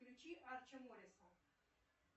включи арчи мориса